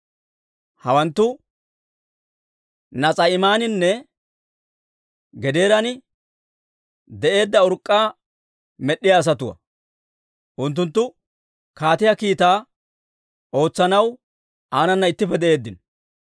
Hawanttu Nas'a'iimaaninne Gadeeran de'eedda urk'k'aa med'd'iyaa asatuwaa. Unttunttu kaatiyaa kiitaa ootsanaw aanana ittippe de'eeddino.